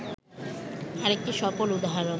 আরেকটি সফল উদাহরণ